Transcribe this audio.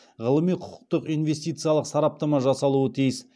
ғылыми құқықтық инвестициялық сараптама жасалуы тиіс